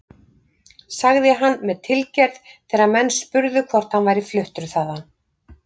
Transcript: sagði hann með tilgerð þegar menn spurðu hvort hann væri fluttur þaðan.